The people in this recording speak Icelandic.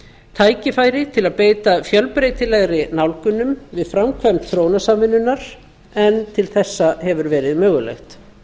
tækifæri til að beita fjölbreytilegri nálgunum við framkvæmd þróunarsamvinnunnar en til þessa hefur verið mögulegt